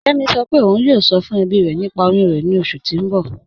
Kẹmi sọ́ pé ọ̀un yóò sọ̀ fún ẹ̀bí rẹ̀ nípà oyún rẹ̀ ni oṣù tí n bọ̀.